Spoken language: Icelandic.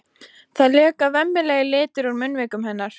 Það leka vemmilegir litir úr munnvikum hennar.